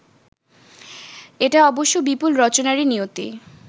এটা অবশ্য বিপুল রচনারই নিয়তি